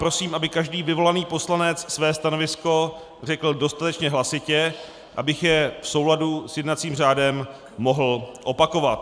Prosím, aby každý vyvolaný poslanec své stanovisko řekl dostatečně hlasitě, abych je v souladu s jednacím řádem mohl opakovat.